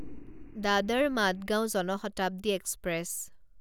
Dadar Madgaon Jan Shatabdi express